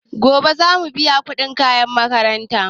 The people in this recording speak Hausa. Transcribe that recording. Gobe zamu biya kuɗin makaranta.